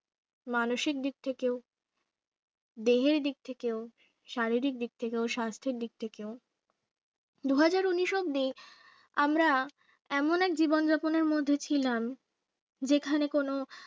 মানষিক দিক থেকে ও দেহের দিক থেকেও শারীরিক দিক থেকেও স্বাস্থ্যের দিক থেকেও দুহাজার উনিশ অব্দি আমরা এমন এক জীবন যাপনের মধ্যে ছিলাম যেখানে কোন